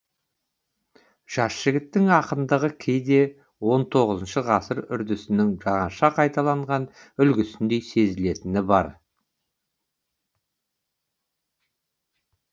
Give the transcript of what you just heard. жас жігіттің ақындығы кейде он тоғызыншы ғасыр үрдісінің жаңаша қайталанған үлгісіндей сезілетіні бар